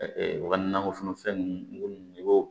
u ka nakɔforo fɛn ninnu i b'o